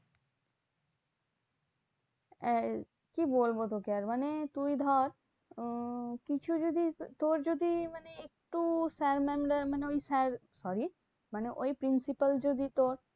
এই কি বলবো তোকে? মানে তুই ধর উম কিছু যদি তোর যদি মানে একটু sir mam দের মানে ওই sir sorry মানে ওই principal যদি তোর